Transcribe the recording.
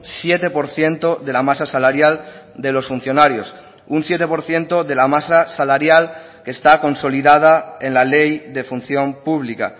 siete por ciento de la masa salarial de los funcionarios un siete por ciento de la masa salarial que está consolidada en la ley de función pública